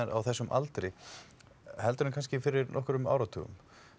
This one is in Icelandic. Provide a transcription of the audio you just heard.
á þessum aldri heldur en kannski fyrir nokkrum áratugum